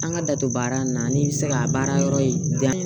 An ka da don baara in na n'i bɛ se ka baara yɔrɔ in dayɛlɛ